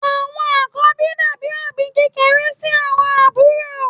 Àwọn àkọ́bí dàbí òbí kékeré sí àwọn àbúrò.